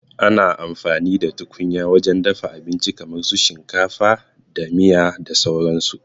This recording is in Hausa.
Ana amfani da tukunya wajen dafa abinci kamar shinkafa da miya da sauran su